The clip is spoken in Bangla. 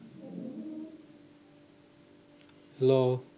hello